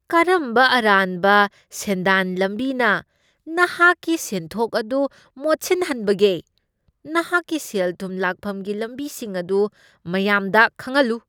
ꯀꯔꯝꯕ ꯑꯔꯥꯟꯕ ꯁꯦꯟꯗꯥꯟ ꯂꯝꯕꯤꯅ ꯅꯍꯥꯛꯀꯤ ꯁꯦꯟꯊꯣꯛ ꯑꯗꯨ ꯃꯣꯠꯁꯤꯟꯍꯟꯕꯒꯦ? ꯅꯍꯥꯛꯀꯤ ꯁꯦꯜ ꯊꯨꯝ ꯂꯥꯛꯐꯝꯒꯤ ꯂꯝꯕꯤꯁꯤꯡ ꯑꯗꯨ ꯃꯌꯥꯝꯗ ꯈꯪꯍꯜꯂꯨ꯫